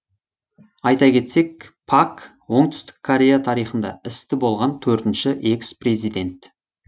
айта кетсек пак оңтүстік корея тарихында істі болған төртінші экс президент